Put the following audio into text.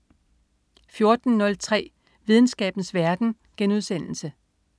14.03 Videnskabens verden*